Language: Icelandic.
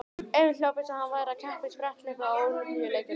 Emil hljóp eins og hann væri að keppa í spretthlaupi á Ólympíuleikunum.